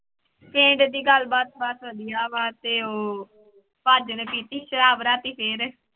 ਪਿੰਡ ਦੀ ਗੱਲਬਾਤ ਬਸ ਵਧੀਆ ਵਾ ਤੇ ਉਹ ਭਾਜੀ ਨੇ ਪੀਤੀ ਸ਼ਰਾਬ ਰਾਤੀ ਫਿਰ।